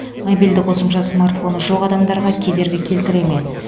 мобильді қосымша смартфоны жоқ адамдарға кедергі келтіре ме